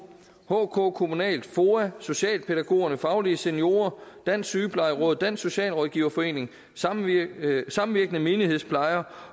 hk kommunal foa socialpædagogerne faglige seniorer dansk sygeplejeråd dansk socialrådgiverforening samvirkende samvirkende menighedsplejer